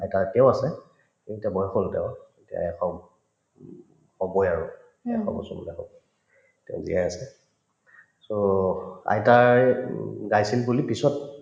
আইতা এতিয়াও আছে কিন্তু এতিয়া বয়স হল তেওঁৰ হবয়ে আৰু এশ বছৰ তেওঁ জীয়াই আছে so আইতাই উম গাইছিল বুলি পিছত